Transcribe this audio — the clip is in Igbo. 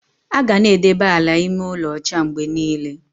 Aga na-edebe ala ime ụlọ ocha mgbe niile.